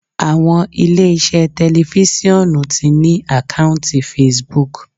Àwọn ilé iṣẹ́ tẹlifisiọnu ti ní àkọ́ùntì Facebook.